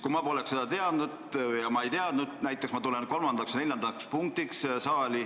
Kui ma tegelikku päevakorda ei tea, siis ma ei tea ka, millal näiteks kolmanda ja neljanda punkti aruteluks saali tulla.